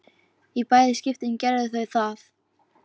Í bæði skiptin gerðu þau það.